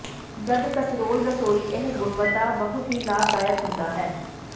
ਜਦ ਕਸਰੋਲ ਰਸੋਈ ਇਹ ਗੁਣਵੱਤਾ ਬਹੁਤ ਹੀ ਲਾਭਦਾਇਕ ਹੁੰਦਾ ਹੈ